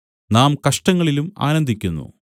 നാം കഷ്ടങ്ങളിലും ആനന്ദിക്കുന്നു